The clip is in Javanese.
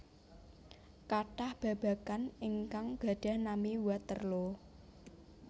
Kathah babagan ingkang gadhah nami Waterloo